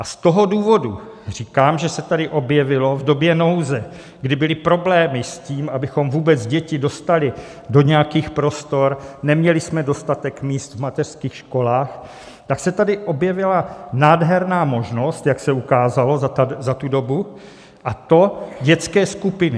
A z toho důvodu říkám, že se tady objevilo v době nouze, kdy byly problémy s tím, aby vůbec děti dostali do nějakých prostor, neměli jsme dostatek míst v mateřských školách, tak se tady objevila nádherná možnost, jak se ukázalo za tu dobu, a to dětské skupiny.